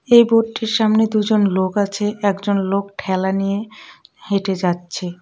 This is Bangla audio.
এই বোর্ডটির সামনে দুজন লোক আছে একজন লোক ঠেলা নিয়ে হেঁটে যাচ্ছে.